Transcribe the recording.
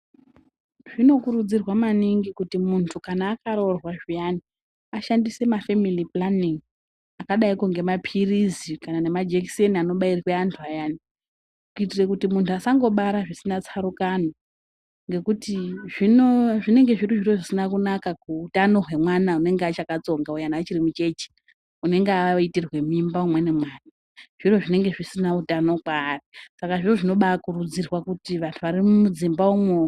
Zvinokurudzirwa maningi kuti munthu kana akaroorwa zviyani ashandise mafemili pulaningi akadaiko ngemapilizi kana nemajekiseni anobairwa anthu ayani kuitira kuti munthu asangobara zvisina tsarukano ngekuti zvino zvinenge zviri zviro zvisina kunaka kuutano hwemwana unenge achakatsonga uyana achiri mucheche unenge aitirwa mimba umweni mwana zviro zvinenge zvisina utano kwaari saka zviro zvinobaakurudzirwa kuti vanthu varimudzimba umwo...